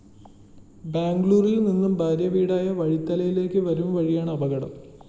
ബാംഗ്ലൂരില്‍ നിന്നും ഭാര്യവീടായ വഴിത്തലയിലേക്ക് വരും വഴിയാണ് അപകടം